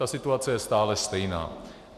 Ta situace je stále stejná.